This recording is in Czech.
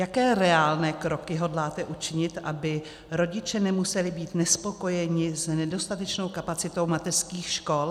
Jaké reálné kroky hodláte učinit, aby rodiče nemuseli být nespokojeni s nedostatečnou kapacitou mateřských škol?